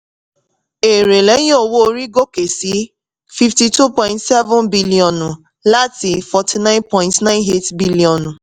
èrè lẹ́yìn owó-orí gòkè sí fifty-two point seven biliọ̀nù láti forty-nine point nine eight biliọ̀nù